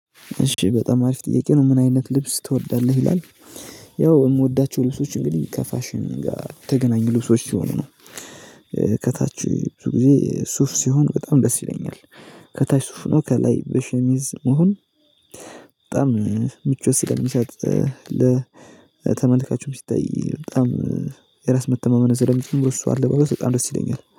እሺ በጣም አሪፍ ጥያቄ ነው። ምን አይነት ልብስ ትወዳለህ ይላል። ያው እምወዳችሁ ልብሶች እንግዲህ ከፋሽን ጋር ተገናኝ ልብሶች ይሆንናል። ከታችው ብዙ ጊዜ ሱፍ ሲሆን በጣም ደስ ይለኛል። ከታች ሱፍ ነው ከላይ በሸሚዝ መሆን በጣም ምቾት ስለሚሰጠኝ ለተመልካችም ሲታይ በጣም የራስ መተማመን ስለሚችሉ የሱ አለባበሥ በጣም ደስ ይልለኛል።